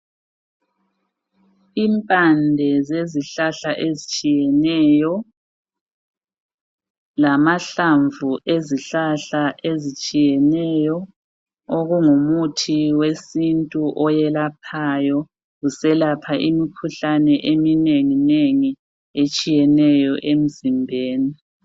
Impande zezihlahla ezitshiyeneyo lamahlamvu ezihlahla ezitshiyeneyo okungumuthi wesintu oyelaphayo. Uselapha imikhuhlane eminengi etshiyeneyo emzimbeni.